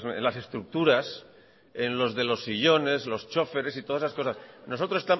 en las estructuras en los de los sillones los choferes y todas esas cosas nosotros